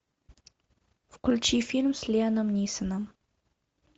включи фильм с лиамом нисоном